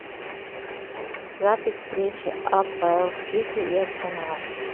запись встречи апл сити и арсенал